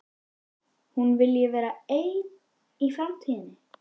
Hún vilji vera ein í framtíðinni.